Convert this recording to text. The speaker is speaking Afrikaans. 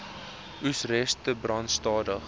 oesreste brand stadig